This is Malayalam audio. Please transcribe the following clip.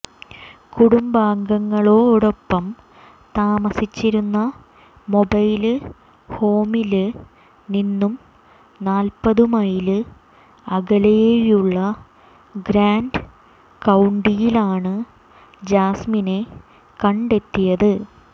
കുടുംബാംഗങ്ങളോടൊപ്പം താമസിച്ചിരുന്ന മൊബൈല് ഹോമില് നിന്നും നാല്പതു മൈല് അകലെയുള്ള ഗ്രാന്റ് കൌണ്ടിയിലാണ് ജാസ്മിനെ കണ്ടെത്തിയത്